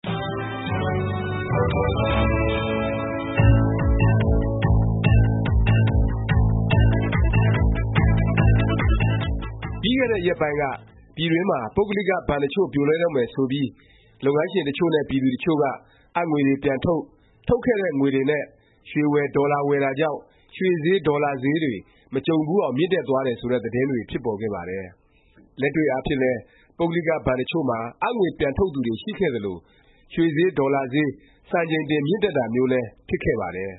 ပြီးခဲ့တဲ့ ရက်ပိုင်းက ပြည်တွင်းမှာ ပုဂ္ဂလိက ဘဏ်တစ်ချို့ ပြိုလဲတော့မယ် ဆိုပြီး လုပ်ငန်းရှင် တစ်ချို့နဲ့ ပြည်သူတစ်ချို့က အပ်ငွေတွေ ပြန်ထုတ်၊ ထုတ်ခဲ့တဲ့ ငွေတွေနဲ့ ရွှေဝယ်၊ ဒေါ်လာဝယ်တာကြောင့် ရွှေဈေး၊ ဒေါ်လာဈေးတွေ မကြုံဖူးအောင် မြင့်တက်သွားတယ် ဆိုတဲ့ သတင်းတွေ ဖြစ်ပေါ်ခဲ့ပါတယ်။ လက်တွေ့အားဖြင့်လည်း ပုဂ္ဂလိက ဘဏ်တစ်ချို့မှာ အပ်ငွေပြန်ထုတ်သူတွေ ရှိခဲ့သလို၊ ကိန်းဂဏန်းတွေအရလည်း ရွှေဈေး၊ ဒေါ်လာဈေး စံချိန်တင် မြင့်တက်တာမျိုးလည်း ဖြစ်ခဲ့ပါတယ်။